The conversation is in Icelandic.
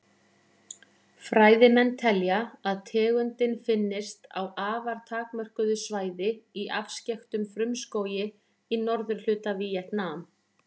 Fræðimenn telja að tegundin finnist á afar takmörkuðu svæði í afskekktum frumskógi í norðurhluta Víetnam.